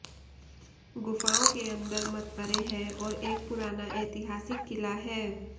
ग़ुफ़ाओं के अन्दर मक़बरे हैं और एक पुराना ऐतिहासिक क़िला है